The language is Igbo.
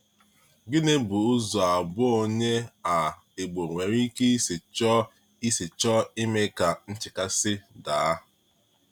Gịnị bụ ụzọ abụọ onye um Ìgbò nwere ike isi chọọ isi chọọ ime ka nchekasị daa?